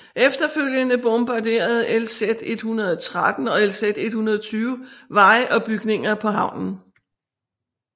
Efterfølgende bombarderede LZ 113 og LZ 120 veje og bygninger på havnen